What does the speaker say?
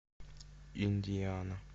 индиана